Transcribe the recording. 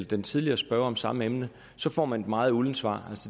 den tidligere spørger om samme emne får man et meget uldent svar